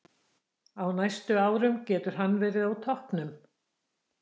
Á næstu árum getur hann verið á toppnum.